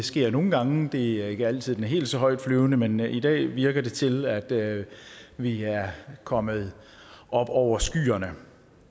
sker jo nogle gange det er ikke altid den helt så højtflyvende men i dag virker det til at vi er kommet op over skyerne